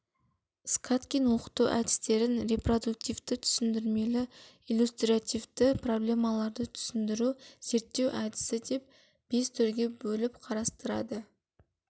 скаткин оқыту әдістерін репродуктивті түсіндірмелі-иллюстративті проблемалы түсіндіру зерттеу әдісі деп бес түрге бөліп қарастырады